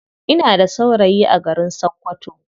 Ina da saurayi a garin sakkwato.